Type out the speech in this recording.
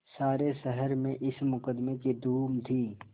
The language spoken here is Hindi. सारे शहर में इस मुकदमें की धूम थी